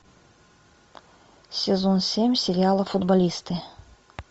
сезон семь сериала футболисты